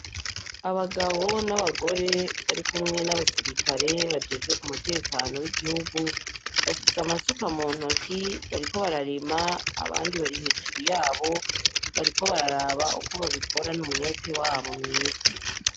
Abagabo nabagore barikumwe nabasirikare, bajejwe umutekano wigihugu bafise amasuka bariko bararima abandi bari hejuru yabo bariko bararaba uko babikorana umwete wabo mwiza .